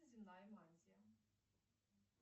земная мантия